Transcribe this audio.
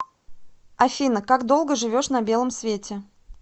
афина как долго живешь на белом свете